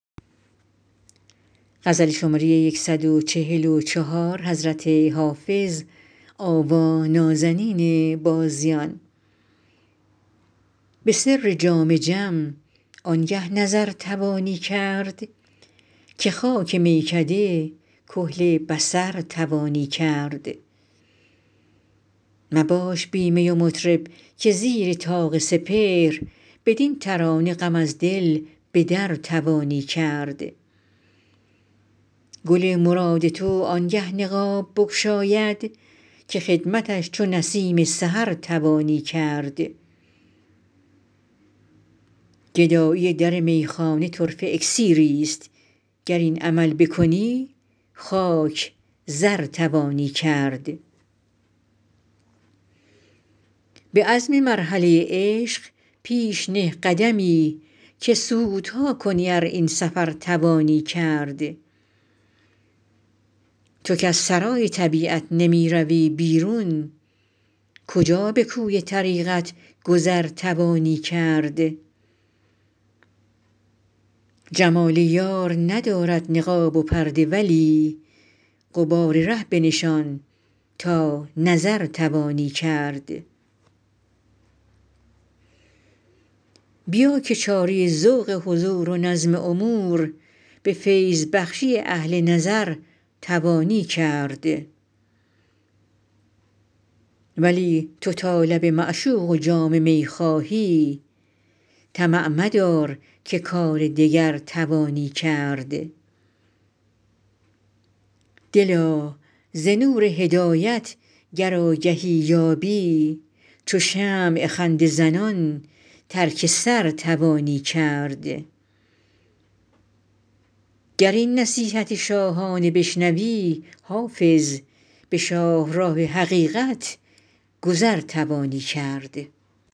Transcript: به سر جام جم آنگه نظر توانی کرد که خاک میکده کحل بصر توانی کرد مباش بی می و مطرب که زیر طاق سپهر بدین ترانه غم از دل به در توانی کرد گل مراد تو آنگه نقاب بگشاید که خدمتش چو نسیم سحر توانی کرد گدایی در میخانه طرفه اکسیریست گر این عمل بکنی خاک زر توانی کرد به عزم مرحله عشق پیش نه قدمی که سودها کنی ار این سفر توانی کرد تو کز سرای طبیعت نمی روی بیرون کجا به کوی طریقت گذر توانی کرد جمال یار ندارد نقاب و پرده ولی غبار ره بنشان تا نظر توانی کرد بیا که چاره ذوق حضور و نظم امور به فیض بخشی اهل نظر توانی کرد ولی تو تا لب معشوق و جام می خواهی طمع مدار که کار دگر توانی کرد دلا ز نور هدایت گر آگهی یابی چو شمع خنده زنان ترک سر توانی کرد گر این نصیحت شاهانه بشنوی حافظ به شاهراه حقیقت گذر توانی کرد